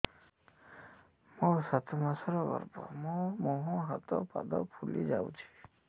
ମୋ ସାତ ମାସର ଗର୍ଭ ମୋ ମୁହଁ ହାତ ପାଦ ଫୁଲି ଯାଉଛି